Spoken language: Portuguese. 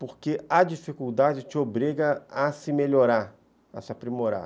Porque a dificuldade te obriga a se melhorar, a se aprimorar.